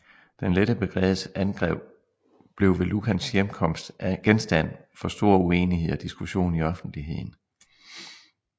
Den Lette Brigades angreb blev ved Lucans hjemkomst genstand for stor uenighed og diskussion i offentligheden